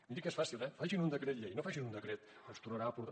miri que és fàcil eh facin un decret llei no facin un decret que ens tornarà a portar